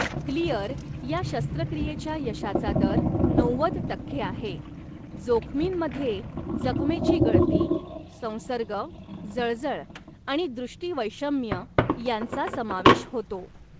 Clear या शस्त्रक्रियेच्या यशाचा दर नव्वद टक्के आहे, जोखमींमध्ये जखमेची गळती, संसर्ग, जळजळ आणि दृष्टिवैषम्य यांचा समावेश होतो.